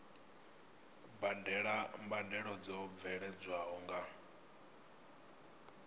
badela mbadelo dzo bveledzwaho nga